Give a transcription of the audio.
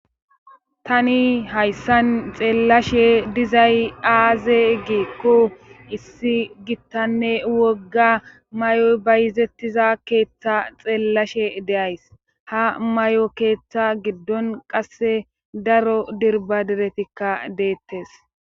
Tani hayssan xeellashe dizay aaze giikko issi gittanne wogga may7oy bayizettiza keeththa xeellashe deays ha may7o keeththa giddon qasse daro dirba diretikka deettes